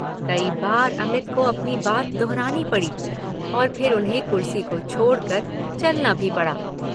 कई बार अमित को अपनी बात दोहरानी पड़ी और फिर उन्हें कुर्सी को छोड़कर चलना भी पड़ा।